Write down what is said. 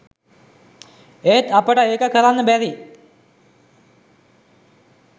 ඒත් අපට ඒක කරන්න බැරි